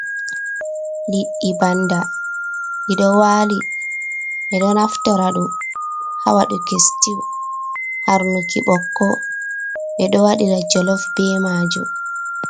Liɗɗi bannda ɗiɗo waali, ɓe ɗo naftira ɗum ,ha waɗuki situ, harnuki ɓokko , ɓe ɗo waɗira jolof be maajum.